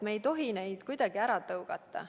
Me ei tohi neid kuidagi ära tõugata.